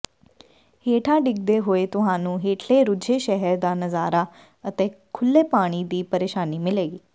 ਹੇਠਾਂ ਡਿੱਗਦੇ ਹੋਏ ਤੁਹਾਨੂੰ ਹੇਠਲੇ ਰੁੱਝੇ ਸ਼ਹਿਰ ਦਾ ਨਜ਼ਾਰਾ ਅਤੇ ਖੁੱਲ੍ਹੇ ਪਾਣੀ ਦੀ ਪਰੇਸ਼ਾਨੀ ਮਿਲੇਗੀ